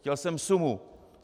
Chtěl jsem sumu.